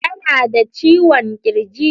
Tana da ciwon kirji.